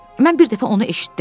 Mən bir dəfə onu eşitdim.